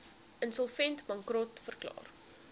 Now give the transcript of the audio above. insolvent bankrot verklaar